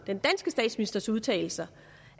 den danske statsministers udtalelser